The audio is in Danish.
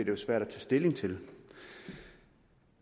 jo svært at tage stilling til det